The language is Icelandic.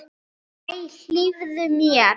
Æ, hlífðu mér!